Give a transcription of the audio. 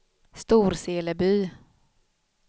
Storseleby